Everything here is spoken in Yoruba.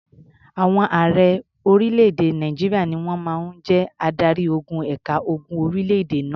Àwọn ààrẹ orílẹ̀-èdè Nàìjíríà ni wọ́n máa ń jẹ́ adarí-ogun ẹ̀ka ogun orílẹ̀-èdè náà.